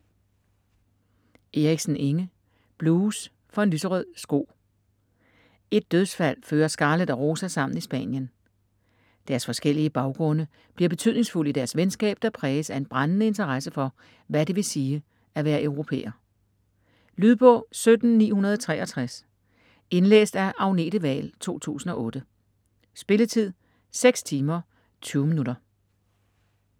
Eriksen, Inge: Blues for en lyserød sko Et dødsfald fører Scarlett og Rosa sammen i Spanien. Deres forskellige baggrunde bliver betydningsfulde i deres venskab, der præges af en brændende interesse for, hvad det vil sige at være europæer. Lydbog 17963 Indlæst af Agnete Wahl, 2008. Spilletid: 6 timer, 20 minutter.